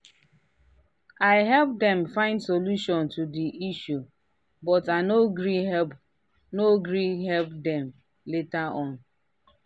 i help dem find solution to the issue but i no gree help no gree help them later on.